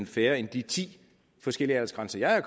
færre end de ti forskellige aldersgrænser jeg har